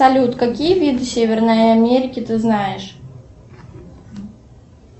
салют какие виды северной америки ты знаешь